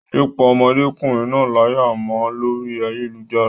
Yé pá ọmọdékùnrin náà láyà mọ́ lórí ayélujára.